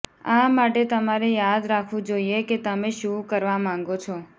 આ માટે તમારે યાદ રાખવું જોઈએ કે તમે શું કરવા માંગો છો